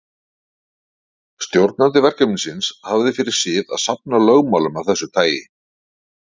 Stjórnandi verkefnisins hafði fyrir sið að safna lögmálum af þessu tagi.